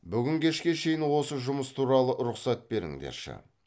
бүгін кешке шейін осы жұмыс туралы рұхсат беріңдерші